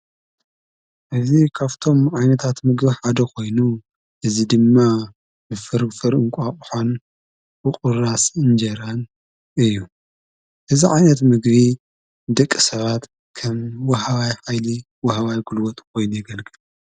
እዝ ኻፍቶም ዓይነታት ምግብሕ ኣደ ኾይኑ እዝ ድማ ብፍርግፈርእንቋቕሓን ብቑራ ስእንጀይራን እዩ እዛ ዓይነት ምግቢ ደቂ ሰባት ከም ወሓዋይ ኃይሊ ወሃዋይ ኲልወት ኾይኑ የገልግል።